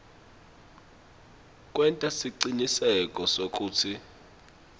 kwenta siciniseko sekutsi